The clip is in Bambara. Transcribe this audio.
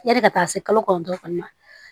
Yani ka taa se kalo kɔnɔntɔn kɔni ma